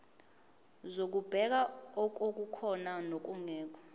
zokubheka okukhona nokungekho